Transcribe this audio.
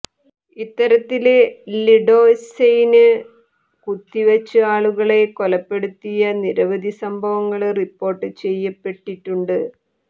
ഇത്തരത്തില് ലിഡോസെയ്ന് കുത്തിവച്ച് ആളുകളെ കൊലപ്പെടുത്തിയ നിരവധി സംഭവങ്ങള് റിപ്പോര്ട്ട് ചെയ്യപ്പെട്ടിട്ടുണ്ട്